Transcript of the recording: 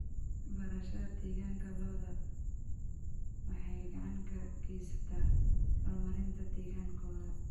Barashada deegaanka lo'da waxay gacan ka geysataa horumarinta deegaankooda.